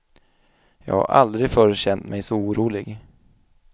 Jag har aldrig förr känt mej så orolig.